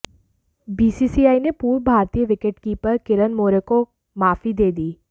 BCCI ने पूर्व भारतीय विकेटकीपर किरण मोरे को माफी दे दी